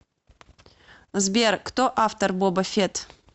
сбер кто автор боба фетт